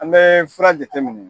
An bɛ fura jateminɛ.